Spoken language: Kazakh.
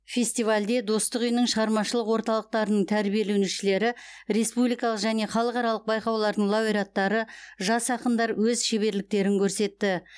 фестивальде достық үйінің шығармашылық орталықтарының тәрбиеленушілері республикалық және халықаралық байқаулардың лауреаттары жас ақындар өз шеберліктерін көрсетті